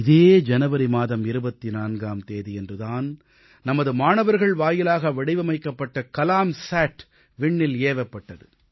இதே ஜனவரி மாதம் 24ஆம் தேதியன்று தான் நமது மாணவர்கள் வாயிலாக வடிவமைக்கப்பட்ட கலாம்சாட் விண்ணில் ஏவப்பட்டது